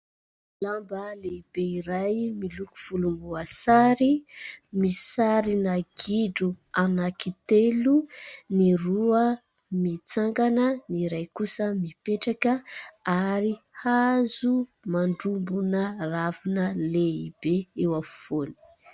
Lamba lehibe iray miloko volomboasary. Misy sarina gidro anankitelo ; ny roa mitsangana, ny iray kosa mipetraka ary hazo mandrobona ravina lehibe eo afovoany.